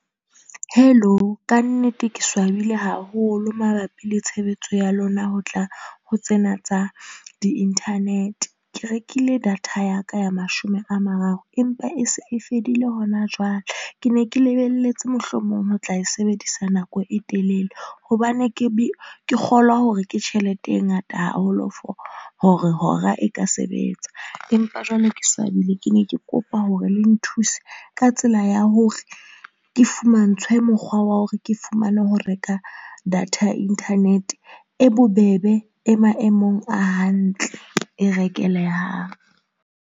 Hello, ka nnete ke swabile haholo mabapi le tshebetso ya lona ho tla ho tsena tsa di-internet. Ke rekile data ya ka ya mashome a mararo empa e se e fedile hona jwale. Ke ne ke lebelletse mohlomong ho tla e sebedisa nako e telele hobane ke ke kgolwa hore ke tjhelete e ngata haholo for hore hora e ka sebetsa. Empa jwale ke swabile, ke ne ke kopa hore le nthuse ka tsela ya hore ke fumantshwe mokgwa wa hore ke fumane ho reka data ya internet e bobebe e maemong a hantle, e rekelehang.